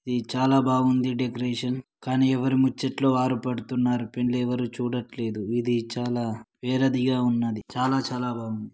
ఇది చాలా బాగుంది డెకరేషన్ కానీ ఎవరు ముచ్చట్లు వారు పెడుతున్నారు పెండ్లి ఎవరు చూడట్లేదు ఇది చాలా వేరేదిగా ఉన్నది చాలా చాలా బాగుంది.